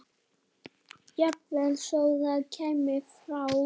Jafnvel þó það kæmi frá